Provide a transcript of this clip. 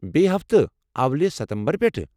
بییٚہِ ہفتہٕ، اولہِ ستمبر پٮ۪ٹھہٕ ۔